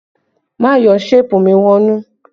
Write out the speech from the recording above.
Má yọ ṣéèpù mi wọnú!